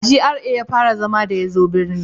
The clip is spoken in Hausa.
A GRA ya fara zama da ya zo birni